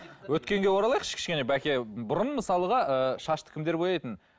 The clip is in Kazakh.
өткенге оралайықшы кішкене бәке бұрын мысалға ыыы шашты кімдер бояйтын